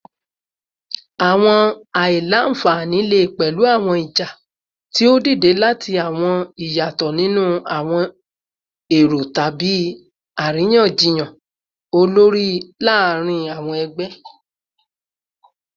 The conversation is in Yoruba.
Awọn aila-nfani le pẹlu awọn ija ti o dide lati awọn iyatọ ninu awọn ero tabi ariyanjiyan olori laarin awọn ẹgbẹ